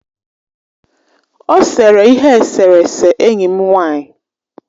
Ọ sere ihe eserese enyi m nwanyị.